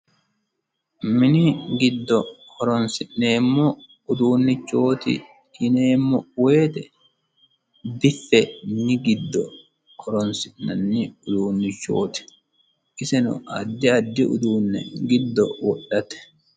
mini giddo horonsi'neemmo uduunnichooti yineemmo woyite biffe minni giddo horonsi'nanni uduunnichooti isino addi addi uduunne giddo wodhate.